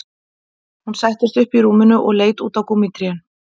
Hún settist upp í rúminu og leit út á gúmmítrén